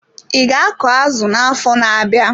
I ga akọ azụ na-afọ na-abịa.